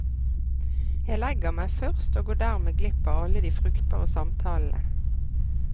Jeg legger meg først og går dermed glipp av alle de fruktbare samtalene.